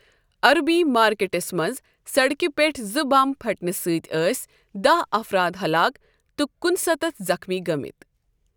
عربی مارکیٹَس منٛز سڑکِہ پٮ۪ٹھ زٕ بمَب پھٹنہٕ سۭتۍ ٲسۍ داہ افراد ہلاک تہٕ کُنہٕ ستتھ زخمی گٔمٕتۍ۔